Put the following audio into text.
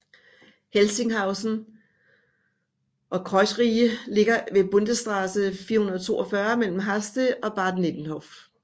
Helsinghausen og Kreuzriehe ligger ved Bundesstraße 442 mellem Haste og Bad Nenndorf